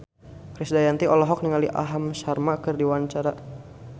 Krisdayanti olohok ningali Aham Sharma keur diwawancara